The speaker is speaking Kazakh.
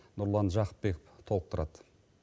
нұрлан жақыпбеков толықтырады